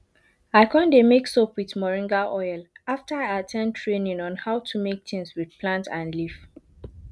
i con dey make soap with moringa oil after i at ten d training on how to make things with plant and leaf